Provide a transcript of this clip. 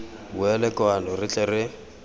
boele kwano re tle re